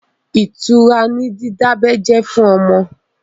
Ìtura ni dídábẹ́ jẹ́ fún ọmọ.